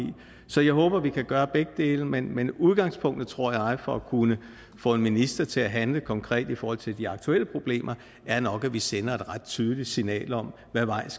så jeg håber at vi kan gøre begge dele men men udgangspunktet tror jeg for at kunne få en minister til at handle konkret i forhold til de aktuelle problemer er nok at vi sender et ret tydeligt signal om hvad vej